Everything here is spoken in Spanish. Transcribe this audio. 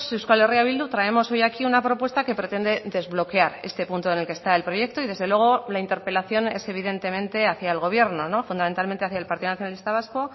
euskal herria bildu traemos hoy aquí una propuesta que pretende desbloquear este punto en el que está el proyecto y desde luego la interpelación es evidentemente hacia el gobierno fundamentalmente hacia el partido nacionalista vasco